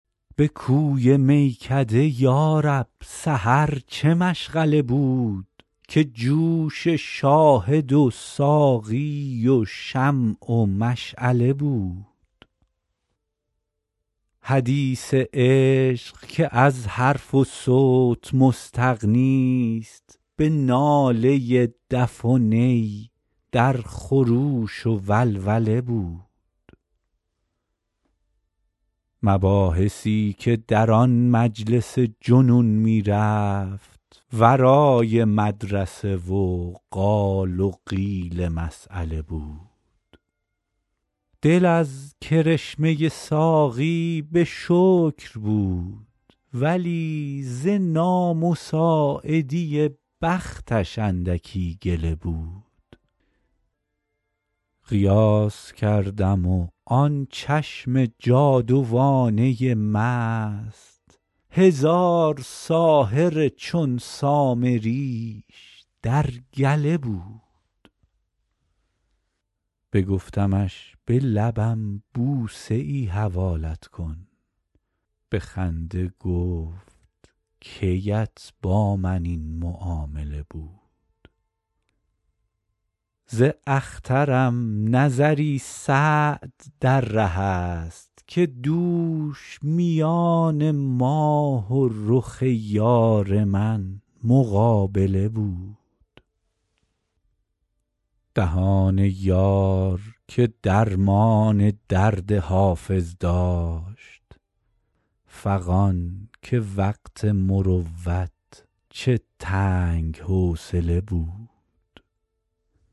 به کوی میکده یا رب سحر چه مشغله بود که جوش شاهد و ساقی و شمع و مشعله بود حدیث عشق که از حرف و صوت مستغنیست به ناله دف و نی در خروش و ولوله بود مباحثی که در آن مجلس جنون می رفت ورای مدرسه و قال و قیل مسأله بود دل از کرشمه ساقی به شکر بود ولی ز نامساعدی بختش اندکی گله بود قیاس کردم و آن چشم جادوانه مست هزار ساحر چون سامریش در گله بود بگفتمش به لبم بوسه ای حوالت کن به خنده گفت کی ات با من این معامله بود ز اخترم نظری سعد در ره است که دوش میان ماه و رخ یار من مقابله بود دهان یار که درمان درد حافظ داشت فغان که وقت مروت چه تنگ حوصله بود